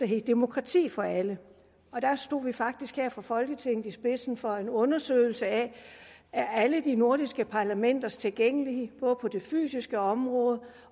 hed demokrati for alle og da stod vi faktisk her fra folketingets side i spidsen for en undersøgelse af alle de nordiske parlamenters tilgængelighed på det fysiske område